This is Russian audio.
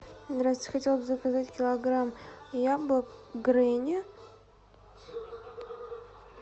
здравствуйте хотела бы заказать килограмм яблок грени